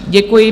Děkuji.